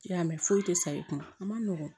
I y'a mɛn foyi tɛ sa i kunna a ma nɔgɔn